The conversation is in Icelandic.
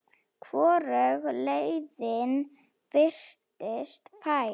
Hvorug leiðin virtist fær.